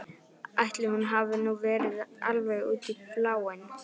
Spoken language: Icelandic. Ætli hún hafi nú verið alveg út í bláinn.